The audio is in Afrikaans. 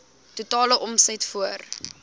totale omset voor